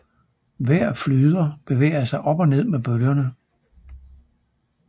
Hver flyder bevæger sig op og ned med bølgerne